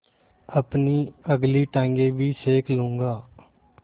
अपनी अगली टाँगें भी सेक लूँगा